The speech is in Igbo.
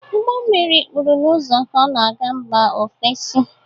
Ụgbọ mmiri kpuru n'ụzọ ka ọ na-aga mba ofesi.